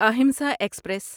Ahimsa express